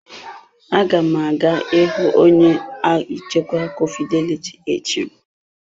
Aga m aga ịhụ onye nchịkwa ụlọ akụ fidelity echi.